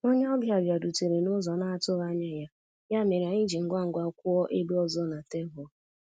Onye ọbịa bịarutere n'ụzọ na-atụghị anya ya, ya mere anyị ji ngwa ngwa kwụọ ebe ọzọ na tebụl.